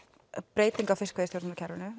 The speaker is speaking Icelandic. breyting á fiskveiðistjórnunarkerfinu